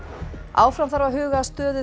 áfram þarf að huga að stöðu